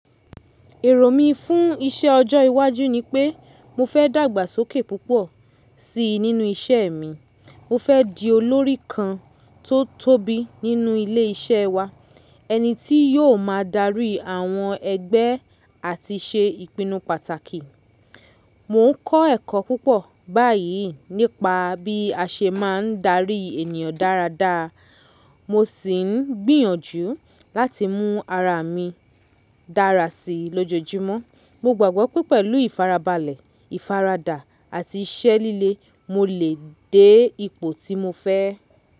Èrò mí fún iṣẹ́ ọjọ́ iwájú nipé mo fẹ́ dàgbàsókè púpọ̀ sí nínú iṣẹ́ mi. Mo fẹ́ di olórí kan tó tóbi nínú ilé iṣẹ́ wa, ẹni tí yóò máa darí àwọn ẹgbẹ́ àti ṣe ìpinnu pàtàkì. Mo ń kọ́ ẹ̀kọ́ púpọ̀ báyìí nípa bí a ṣe máa ń darí ènìyàn dáradára. Mo sì ń gbìyànjú láti mú ara mi dára sí lójoojúmọ́. Mo gbàgbọ́ pé pẹ̀lú ìfarabalẹ̀, ìfaradà àti iṣẹ́ líle, mo lè dé ipò tí mo fẹ́.